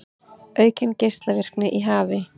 Aukin geislavirkni í hafi